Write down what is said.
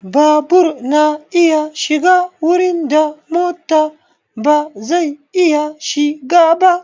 Babur na iya shiga wurin da mota ba zai iya shiga ba.